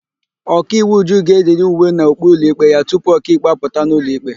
Ọkaiwu Uju ga-eyiri uwe na okpu ụlọikpe ya tupu ọkaikpe apụta n'ụlọ ikpe.